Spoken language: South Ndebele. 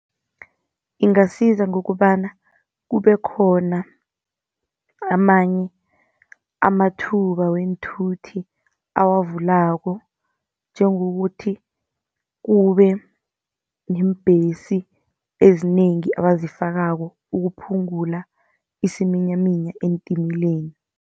Ingasiza ngokobana kube khona amanye amathuba weenthuthi awavulako, njengokuthi kube neembhesi ezinengi abazifakako, ukuphungula isiminyaminya eentimeleni.